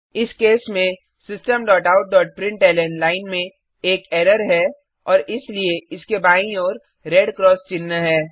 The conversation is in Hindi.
इस केस में systemoutप्रिंटलन लाइन में एक एरर्स है और इसलिए इसके बाईं ओर रेड क्रॉस चिह्न है